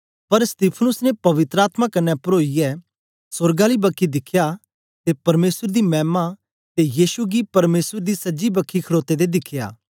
पर स्तेफानॉस ने पवित्र आत्मा कन्ने परोईयै सोर्ग आली बखी दिखया ते परमेसर दी मैमा ते यीशु गी परमेसर दी सज्जी बखी खडोते दे दिखियै